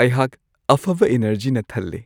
ꯑꯩꯍꯥꯛ ꯑꯐꯕ ꯢꯅꯔꯖꯤꯅ ꯊꯜꯂꯦ ꯫